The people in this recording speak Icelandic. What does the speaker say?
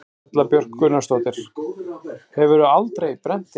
Erla Björg Gunnarsdóttir: Hefurðu aldrei brennt þig?